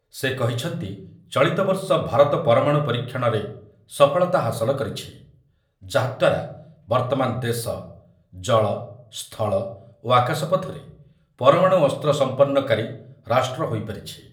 ସେ କହିଛନ୍ତି ଚଳିତ ବର୍ଷ ଭାରତ ପରମାଣୁ ପରୀକ୍ଷଣରେ ସଫଳତା ହାସଲ କରିଛି, ଯାହାଦ୍ୱାରା ବର୍ତ୍ତମାନ ଦେଶ ଜଳ, ସ୍ଥଳ ଓ ଆକାଶପଥରେ ପରମାଣୁ ଅସ୍ତ୍ର ସଂପନ୍ନକାରୀ ରାଷ୍ଟ୍ର ହୋଇପାରିଛି ।